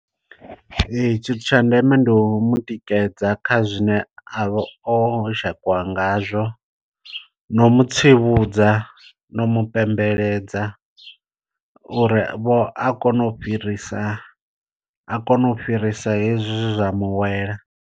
Ee tshithu tsha ndeme ndi u mutikedza kha zwine a vha o dzhakiwa ngazwo, no mutsivhudza no mu pembeledza uri vho a kone u fhirisa a kone u fhirisa hezwi zwezwa muwela.